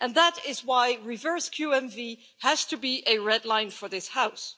And that is why reverse QMV has to be a red line for this House.